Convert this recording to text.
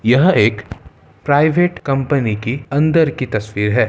यह एक private company की अंदर की तस्वीर है।